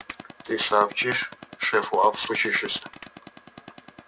ты сообщишь шефу о случившемся